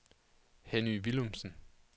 Henny Villumsen